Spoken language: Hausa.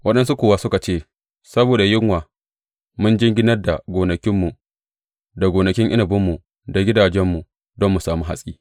Waɗansu kuwa suka ce, Saboda yunwa mun jinginar da gonakinmu, da gonakin inabinmu, da gidajenmu don mu sami hatsi.